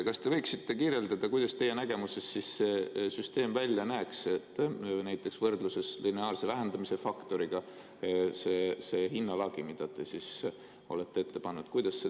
Kas te võiksite kirjeldada, kuidas teie nägemuses see süsteem välja näeks, näiteks võrdluses lineaarse vähendamise faktoriga, see hinnalagi, mida te olete ette pannud?